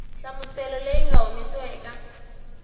nhlamuselo leyi nga humesiwa eka